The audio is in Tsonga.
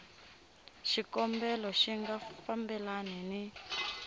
xikombelo xi nga fambelani ni